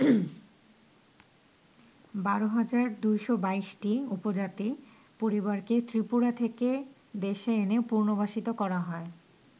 ১২,২২২টি উপজাতি পরিবারকে ত্রিপুরা থেকে দেশে এনে পুনর্বাসিত করা হয়।